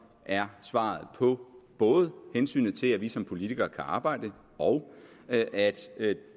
er svaret på både hensynet til at vi som politikere kan arbejde og at at